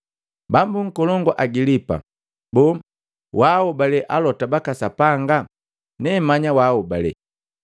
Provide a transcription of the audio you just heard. Bambu nkolongu Agilipa, boo, waaobale Alota baka Sapanga? Nemanya waaobale.”